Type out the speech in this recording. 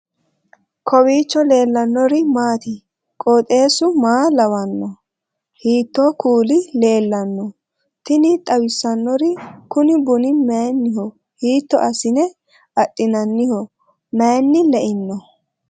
kowiicho leellannori maati ? qooxeessu maa lawaanno ? hiitoo kuuli leellanno ? tini xawissannori kuni bunni mayinniho hiitto assine adhinanniho maynni leino